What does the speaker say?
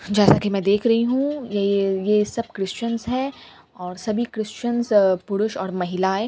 जैसा की मैं देख रही हूँ ये ये सब क्रिश्चियन हैं और सभी क्रिश्चियनस अ पुरुष और महिलाएं --